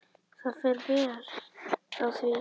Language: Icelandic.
Það fer vel á því.